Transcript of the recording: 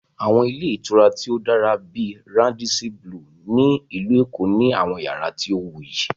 Àwọn ilé ìtura tí ó dára bíi "Radisson Blu" ní Ìlú Èkó ní àwọn yàrá tí ó wuyì